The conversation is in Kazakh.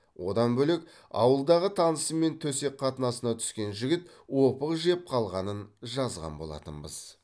одан бөлек ауылдағы танысымен төсек қатынасына түскен жігіт опық жеп қалғанын жазған болатынбыз